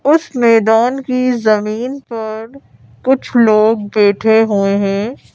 उस मैदान की जमीन पर कुछ लोग बैठे हुए हैं।